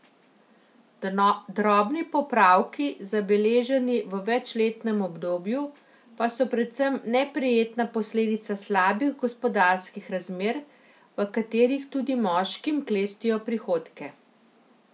Drobni popravki, zabeleženi v večletnem obdobju, pa so predvsem neprijetna posledica slabih gospodarskih razmer, v katerih tudi moškim klestijo prihodke.